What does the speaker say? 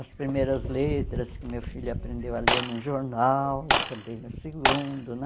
As primeiras letras que meu filho aprendeu a ler num jornal, também o segundo, né?